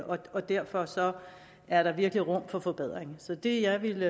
og derfor er der virkelig rum for forbedring så det jeg vil